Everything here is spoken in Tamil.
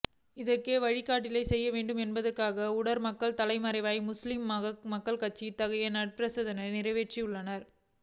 இதற்கோர் வழிகாட்டலை செய்ய வேண்டும் என்பதற்காகவே உலமாக்கள் தலைமையிலான முஸ்லிம் மக்கள் கட்சி இத்தகைய நன்றிப்பிரேரணையை நிறைவேற்றியுள்ளது